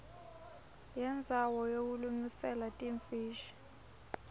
yendzawo yekulungiselela timfishi